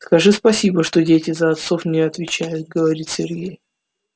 скажи спасибо что дети за отцов не отвечают говорит сергей